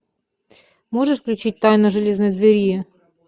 можешь включить тайна железной двери